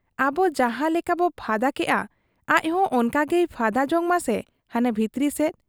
ᱟᱵᱚ ᱡᱟᱦᱟᱸ ᱞᱮᱠᱟᱵᱚ ᱯᱷᱟᱫᱟ ᱠᱮᱜ ᱟ, ᱟᱡᱦᱚᱸ ᱚᱱᱠᱟ ᱜᱮᱭ ᱯᱷᱟᱰᱟ ᱡᱚᱝ ᱢᱟᱥᱮ ᱦᱟᱱᱟ ᱵᱷᱤᱛᱨᱤ ᱥᱮᱫ ᱾